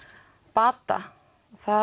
bata